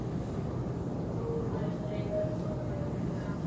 Góður drengur fallinn frá.